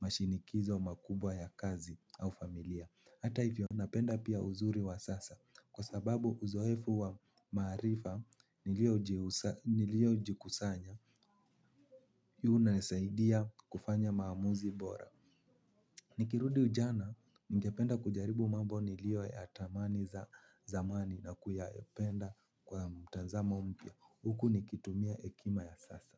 mashinikizo makubwa ya kazi au familia. Hata hivyo napenda pia uzuri wa sasa kwa sababu uzoefu wa marifa niliojihusa nilio jikusanya hii unasaidia kufanya maamuzi bora. Nikirudi ujana ningependa kujaribu mambo nilio ya tamani za zamani na kuyapenda kwa mtazamo mpya. Huku nikitumia hekima ya sasa.